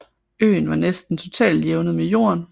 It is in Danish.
Øen var næsten totalt jævnet med jorden